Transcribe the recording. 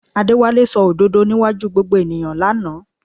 Adéwálé sọ òdodo níwájú gbogbo ènìyàn lánàá